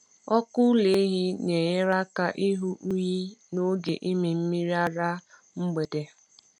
Ọkụ ụlọ ehi na-enyere aka ịhụ unyi n’oge ịmị mmiri ara mgbede.